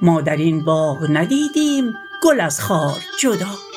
ما در این باغ ندیدیم گل از خار جدا